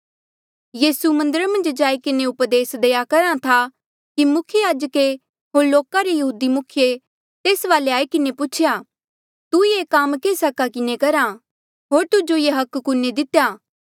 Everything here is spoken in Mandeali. यीसू मन्दरा जाई किन्हें उपदेस देई करेया करहा था कि मुख्य याजके होर लोका रे यहूदी मुखिये तेस वाले आई किन्हें पूछेया तू ये काम केस हका किन्हें करहा होर तुजो ये हक कुने दितेया